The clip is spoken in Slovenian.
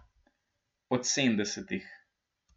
Od sedemdesetih.